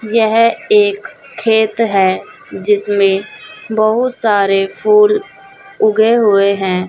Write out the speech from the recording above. यह एक खेत है जिसमें बहुत सारे फूल उगे हुए हैं।